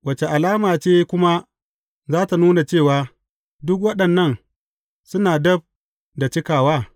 Wace alama ce kuma za tă nuna cewa, duk waɗannan suna dab da cikawa?